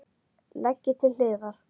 Leggið til hliðar.